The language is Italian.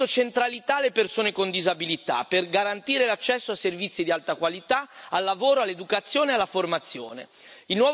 Abbiamo dato centralità alle persone con disabilità per garantire l'accesso a servizi di alta qualità, al lavoro, all'educazione e alla formazione.